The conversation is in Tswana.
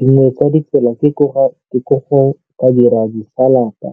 Dingwe tsa ditsela ke go ka dira disalata